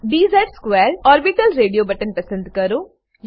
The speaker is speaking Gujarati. dz2 ઓર્બિટલ રેડીઓ બટન પસંદ કરો